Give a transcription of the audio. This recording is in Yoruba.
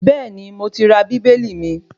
Bẹ́ẹ̀ni, mo ti ra Bíbélì mi